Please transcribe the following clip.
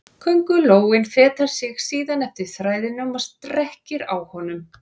Köngulóin fetar sig síðan eftir þræðinum og strekkir á honum.